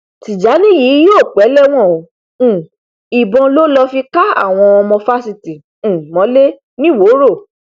tìjàni yìí yóò pẹ lẹwọn o um ìbọn ló lọọ fi ká àwọn ọmọ fásitì um mọlẹ nìwòrò